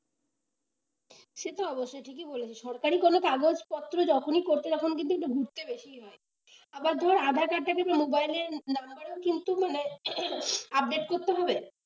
সে তো অবশ্যই ঠিকই বলেছিস সরকারি কোন কাগজপত্র যখনই করতে যখন দেখি একটু ঘুরতে বেশিই হয়, আবার ধর aadhaar card টা যদি মোবাইলের নাম্বারো কিন্তু মানে update করতে হবে?